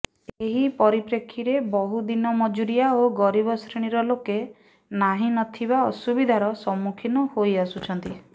ଏହି ପରିପ୍ରେକ୍ଷୀରେ ବହୁ ଦିନ ମଜୁରିଆ ଓ ଗରିବ ଶ୍ରେଣୀର ଲୋକେ ନାହିଁ ନଥିବା ଅସୁବିଧାର ସମ୍ମୁଖୀନ ହୋଇଆସୁଛନ୍ତି